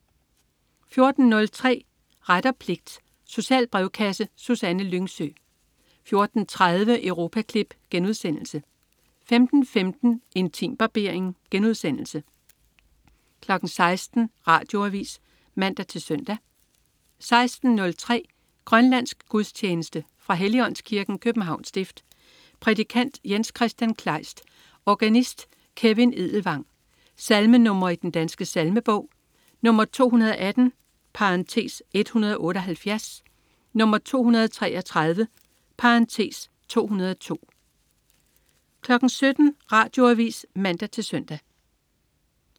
14.03 Ret og pligt. Social brevkasse. Susanne Lyngsø 14.30 Europaklip* 15.15 Intimbarbering* 16.00 Radioavis (man-søn) 16.03 Grønlandsk gudstjeneste. Fra Helligåndskirken, Københavns Stift. Prædikant: Jens-Kristian Kleist. Organist: Kevin Edelvang. Salmenr. i Den Danske Salmebog: 218 (178), 233 (202) 17.00 Radioavis (man-søn)